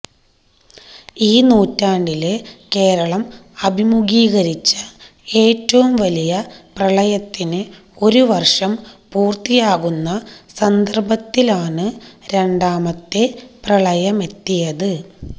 ഈ നൂറ്റാണ്ടില് കേരളം അഭിമുഖീകരിച്ച ഏറ്റവും വലിയ പ്രളയത്തിന് ഒരു വര്ഷം പൂര്ത്തിയാകുന്ന സന്ദര്ഭത്തിലാണ് രണ്ടാമത്തെ പ്രളയമെത്തിയത്